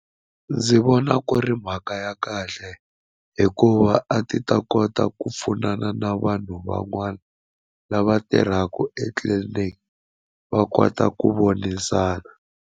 Ndzi vona ku ri mhaka ya kahle hikuva a ti ta kota ku pfunana na vanhu van'wana lava tirhaka etliliniki va kota ku vonisana.